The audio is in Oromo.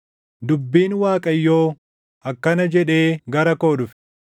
Dubbiin Waaqayyoo akkana jedhee gara koo dhufe;